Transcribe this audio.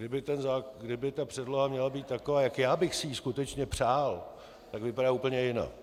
Kdyby ta předloha měla být taková, jak já bych si ji skutečně přál, tak vypadá úplně jinak.